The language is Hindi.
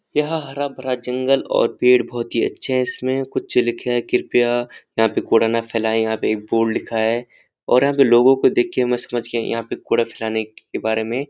यह हरा-भरा जंगल और पेड़ बहुत ही अच्छे हैं इसमें कुछ लिखा है कृपया यहाँ पर कूड़ा ना फैलाएं यहाँ पे एक बोर्ड लिखा है और यहाँ के लोगों को देखकर मैं समझ गया यहाँ पे कूड़ा फैलाने के बारे में--